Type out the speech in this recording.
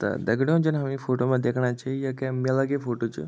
ता दगडियों जन हम यी फोटो मा दिखणा छ या केम मेला की फोटो छ।